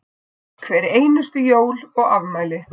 Hver einustu jól og afmæli.